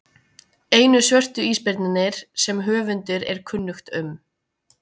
einu svörtu ísbirnirnir sem höfundi er kunnugt um